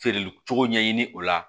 Feereli cogo ɲɛɲini o la